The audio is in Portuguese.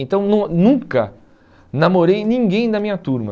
Então não nunca namorei ninguém da minha turma.